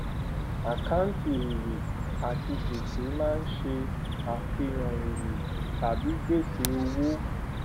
àkáǹtì èrè àti gbèsè máa ń ṣe àfihàn èrè tàbí gbèsè òwò